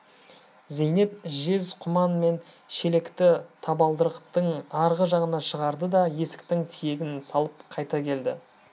зейнеп жез құман мен шелекті табалдырықтың арғы жағына шығарды да есіктің тиегін салып қайта келді